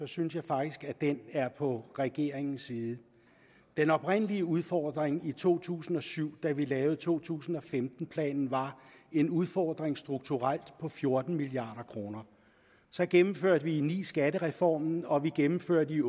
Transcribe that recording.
synes jeg faktisk at den er på regeringens side den oprindelige udfordring i to tusind og syv da vi lavede to tusind og femten planen var en udfordring strukturelt på fjorten milliard kroner så gennemførte vi i og ni skattereformen og vi gennemførte i